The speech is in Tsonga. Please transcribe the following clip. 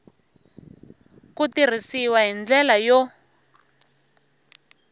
ku tirhisiwa hi ndlela yo